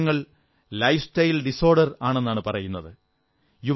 ഇന്ന് ഈ രോഗങ്ങൾ ലൈഫ്സ്റ്റൈൽ ഡിസ്ഓർഡർ ആണെന്നാണു പറയുന്നത്